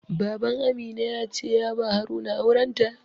Baban Amina ya ce ya ba Haruna auren ta.